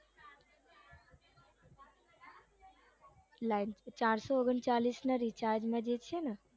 ચારસો ઓગણચાળીસ ના recharge માં જે છે ને